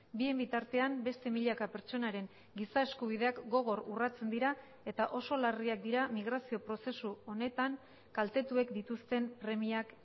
bien bitartean beste milaka pertsonaren giza eskubideak gogor urratzen dira eta oso larriak dira migrazio prozesu honetan kaltetuek dituzten premiak